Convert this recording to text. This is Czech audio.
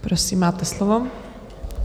Prosím, máte slovo.